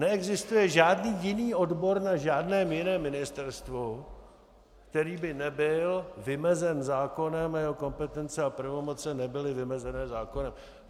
Neexistuje žádný jiný odbor na žádném jiném ministerstvu, který by nebyl vymezen zákonem a jeho kompetence a pravomoci nebyly vymezené zákonem.